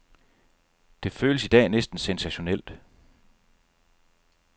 Det føles i dag næsten sensationelt.